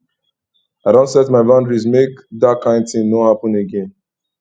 i don set my boundaries make dat kain tin no happen again